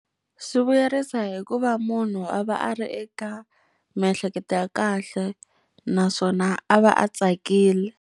Swi vuyerisa hi ku va munhu a va a ri eka miehleketo ya kahle naswona a va a tsakile.